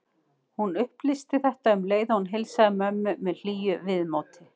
Hún upplýsti þetta um leið og hún heilsaði mömmu með hlýju viðmóti.